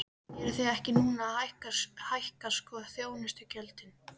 Eruð þið ekki núna að hækka sko þjónustugjöldin?